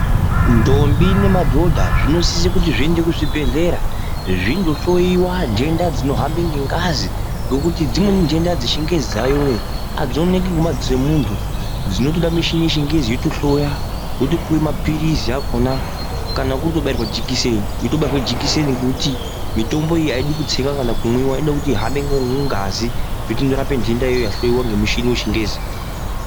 Ndombi nemadhodha zvinosise kuti zviende kuzvibhehleya zvindohloyiwa nhenda dzinohamba ngengazi ngekuti dzimweni nhenda dzechingezi dzayoyo adzioneki ngemadziso emuntu dzinotoda michini yechingezi yotohloya wotopuwe mapilizi akona kana kurikutobairwa jekiseni wotobairwa jekiseningokuti mitombo iyi aidi kutsiwa kana kumwiwa inode kuti ihambe ngemungazi yotonorape nhenda iyoyo yahloyiwa ngemuchini wechingezi.